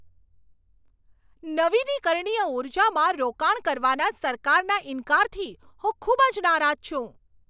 નવીનીકરણીય ઊર્જામાં રોકાણ કરવાના સરકારના ઈનકારથી હું ખૂબ જ નારાજ છું.